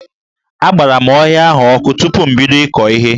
Agbara m ọhịa ahụ ọkụ tupu m bido ịkọ ihe.